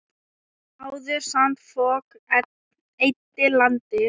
Áður sandfok eyddi landi.